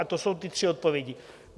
A to jsou ty tři odpovědi.